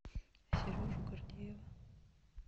сережу гордеева